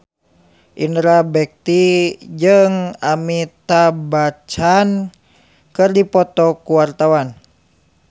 Indra Bekti jeung Amitabh Bachchan keur dipoto ku wartawan